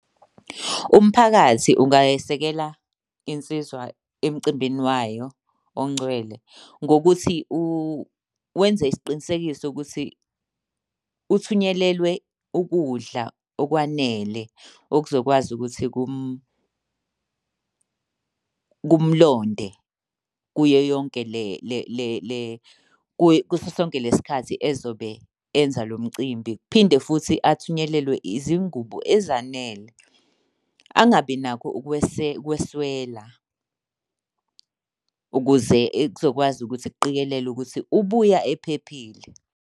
Umphakathi ungayesekela insizwa emcimbini wayo ongcwele ngokuthi wenze isiqinisekiso ukuthi uthunyelelwe ukudla okwanele okuzokwazi ukuthi kumlonde kuyo yonke , kuso sonke le sikhathi ezobe enza lo mcimbi. Kuphinde futhi athunyelelwe izingubo ezanele. Angabi nakho ukweswela ukuze kuzokwazi ukuthi kuqikelelwe ukuthi ubuya ephephile.